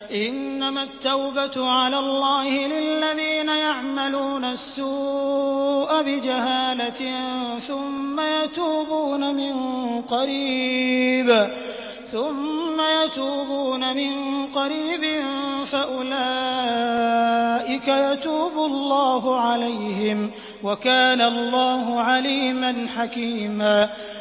إِنَّمَا التَّوْبَةُ عَلَى اللَّهِ لِلَّذِينَ يَعْمَلُونَ السُّوءَ بِجَهَالَةٍ ثُمَّ يَتُوبُونَ مِن قَرِيبٍ فَأُولَٰئِكَ يَتُوبُ اللَّهُ عَلَيْهِمْ ۗ وَكَانَ اللَّهُ عَلِيمًا حَكِيمًا